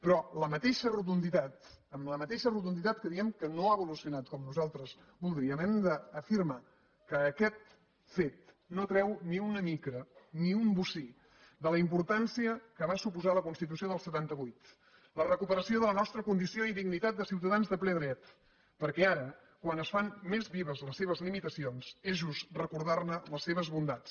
però amb la mateixa rotunditat amb la mateixa rotunditat que diem que no ha evolucionat com nosaltres voldríem hem d’afirmar que aquest fet no treu ni una mica ni un bocí de la importància que va suposar la constitució del setanta vuit la recuperació de la nostra condició i dignitat de ciutadans de ple dret perquè ara quan es fan més vives les seves limitacions és just recordar ne les seves bondats